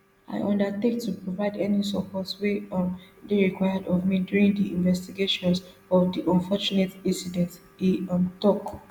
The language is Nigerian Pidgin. i undertake to provide any support wey um dey required of me during di investigations of di unfortunate incident e um tok